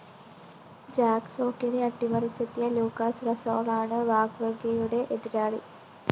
Jack സോക്കിനെ അട്ടിമറിച്ചെത്തിയ Lucas റസോളാണ് വാവ്‌റിങ്കയുടെ എതിരാളി